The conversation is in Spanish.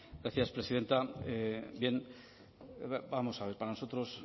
gracias presidenta bien vamos a ver para nosotros